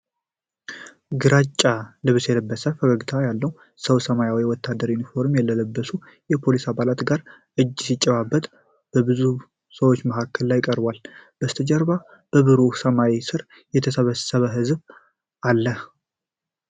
ግራጫ ልብስ የለበሰ ፈገግታ ያለው ሰው ሰማያዊ ወታደራዊ ዩኒፎርም ከለበሱ የፖሊስ አባላት ጋር እጅ ሲጨባበጥ፣ በብዙ ሰዎች መሃል ላይ ቀርቧል፡፡ ከበስተጀርባ በብሩህ ሰማይ ሥር የተሰበሰበ ህዝብ አለ።